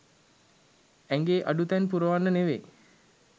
ඇඟේ අඩුතැන් පුරවන්න නෙවෙයි.